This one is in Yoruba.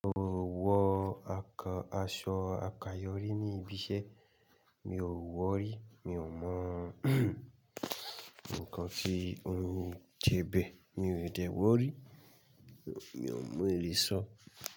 Mo ò wọ àsọ àkáyòrí níbi ìṣẹ́, mi ò wọ rí, mi ò mọ nnkan tí ó ń je bẹ́, mi ò de wọ́ rí, mi ò le so.